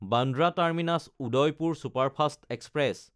Bandra Terminus-Udaipur superfast express